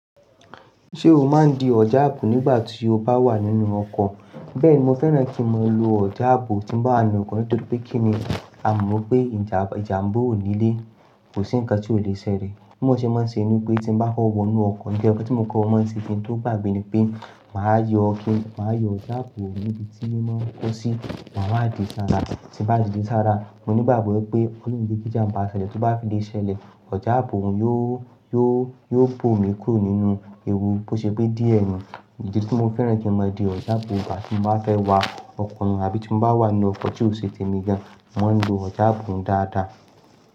Ṣé o máa ń di ọjà ààbò nígbà tí o bá wà nínú ọkọ̀? Bẹ́ẹ̀ni, mo fẹ́ràn kí mo lo ọjà ààbò tí mo bá ninu okọ́ nítorí pé kí èmi, a mọ̀ pé ìjàmbó ò nílé, kò sí nǹkan tí o lè ṣẹlẹ̀. Mo ṣe mọ̀ ṣe inú pé tí mo bá kọ́ wọnú ọkọ̀, nkankan tí mo kọ́ mo se kí n tó gbàgbé ni pé màá yọ kini màá yọ ọjà ààbò níbi tí mo máa ń kó sí, màá de sáárà, tí mo bá de sáárà mo nígbàgbọ́ pé ólorun o ni jé kí ìjàmbá ṣẹlẹ̀, tó bá fi lè ṣẹlẹ̀ ọjà ààbò yóò, yóò, yóò bò mí kúrò nínú ewu bó ṣe pé díẹ̀ ni. Ìdí tí mo fẹ́ràn kí mo di ọjà ààbò ìgbà tí mo bá fẹ́ wá ọkọ̀ mi àbí tí mo bá wà ní ọkọ̀ tí ò ṣe tèmi gan, mo máa ń lo ọjà ààbò dáadáa.